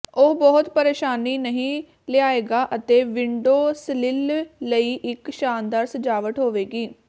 ਉਹ ਬਹੁਤ ਪਰੇਸ਼ਾਨੀ ਨਹੀਂ ਲਿਆਏਗਾ ਅਤੇ ਵਿੰਡੋ ਸਲਿਲ ਲਈ ਇੱਕ ਸ਼ਾਨਦਾਰ ਸਜਾਵਟ ਹੋਵੇਗੀ